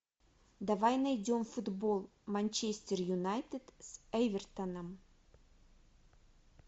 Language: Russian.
давай найдем футбол манчестер юнайтед с эвертоном